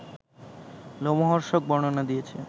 লোমহর্ষক বর্ণনা দিয়েছে